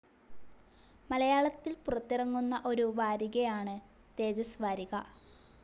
മലയാളത്തിൽ പുറത്തിറങ്ങുന്ന ഒരു വാരികയാണ് തേജസ് വാരിക.